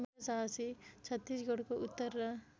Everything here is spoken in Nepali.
छत्तीसगढको उत्तर र